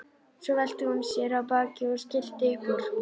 Svo velti hún sér á bakið og skellti upp úr.